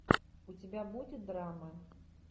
у тебя будет драма